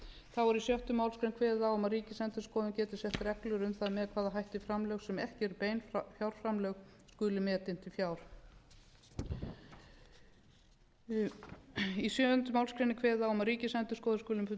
þá er í sjöttu málsgrein kveðið á um að ríkisendurskoðun geti sett reglur um það með hvaða hætti framlög sem ekki eru bein fjárframlög skulu metin til fjár í sjöunda málsgrein er kveðið á um að ríkisendurskoðun skuli bundin trúnaði